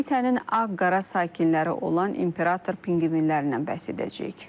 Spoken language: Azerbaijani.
Qitənin ağ-qara sakinləri olan imperator pinqvinlərindən bəhs edəcəyik.